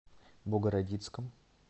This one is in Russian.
богородицком